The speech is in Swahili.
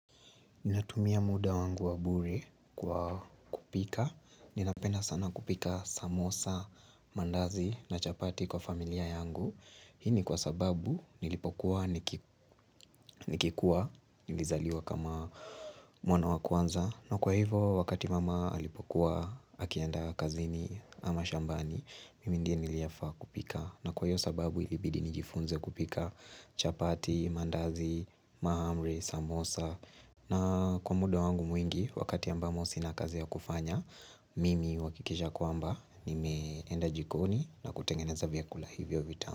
Ninatumia muda wangu wa bure kwa kupika. Ninapenda sana kupika samosa, maandazi na chapati kwa familia yangu. Hii ni kwa sababu nilipokuwa nikikua, nilizaliwa kama mwana wa kwanza. Na kwa hivo wakati mama alipokuwa akiandaa kazini ama shambani, mimi ndiye niliyefaa kupika. Na kwa hio sababu ilibidi nijifunze kupika chapati, mandazi, mahamri, samosa. Na kwa muda wangu mwingi wakati ambamo si na kazi ya kufanya Mimi uhakikisha kwamba nimeenda jikoni na kutengeneza vyakula hivyo vitamu.